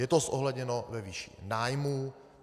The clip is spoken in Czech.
Je to zohledněno ve výši nájmů.